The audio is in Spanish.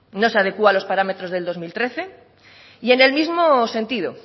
no se adecua a los parámetros de dos mil trece y en el mismo sentido